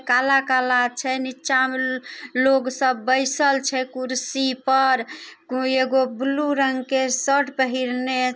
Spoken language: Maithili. काला-काला छै। नीचा में लोग सब बैसल छै कुर्सी पर । कोय एगो ब्लू रंग के शर्ट पहिरने--